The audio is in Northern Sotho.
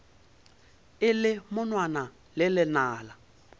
e le monwana le lenala